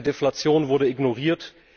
Eine Deflation wurde ignoriert.